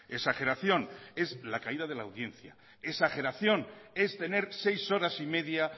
exageración es la caída de la audiencia exageración es tener seis horas y media